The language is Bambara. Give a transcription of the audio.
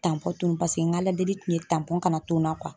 tunun paseke n k'Ala deli kun ye kana to n na